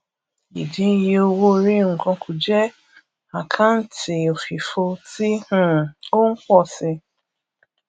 ìdín iye owóorí nǹkan kù jẹ àkáǹtì òfìfo tí um ó ń pọ si